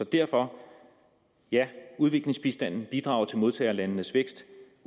derfor udviklingsbistanden bidrager til modtagerlandenes vækst